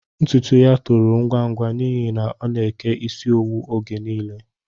Ntụtụ yá tòrò ngwa ngwa n'ihi na ọ na-eke isi owu oge nile